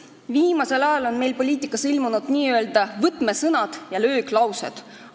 Viimasel ajal on poliitikasse ilmunud n-ö võtmesõnad ja lööksõnad.